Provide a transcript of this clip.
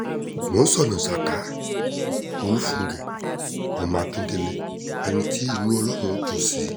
mọ́ńsóná saka olùfúngẹ́ ọmọ akíndélé ẹni tí inú ọlọ́run dùn sí